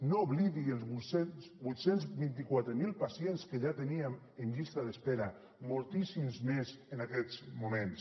no oblidi els vuit cents i vint quatre mil pacients que ja teníem en llista d’espera moltíssims més en aquests moments